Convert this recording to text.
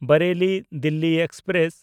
ᱵᱟᱨᱮᱞᱤ–ᱫᱤᱞᱞᱤ express